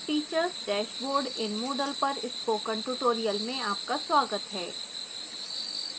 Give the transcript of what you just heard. teachers dashboard in moodle पर spoken tutorial में आपका स्वागत है